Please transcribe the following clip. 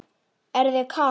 Er þér kalt?